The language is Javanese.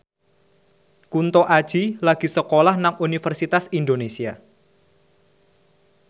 Kunto Aji lagi sekolah nang Universitas Indonesia